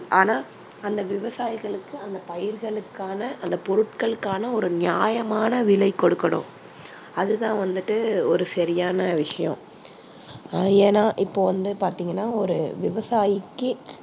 ஆனா அந்த விவசாயிகளுக்கு அந்தப் பயிர்களுக்கான அந்தப் பொருட்களுக்கான ஒரு நியாயமான விலை கொடுக்கணும். அது தான் வந்துட்டு ஒரு சரியான விஷயம். அஹ் ஏன்னா இப்போ வந்து பார்த்தீங்கன்னா ஒரு விவசாயிக்கு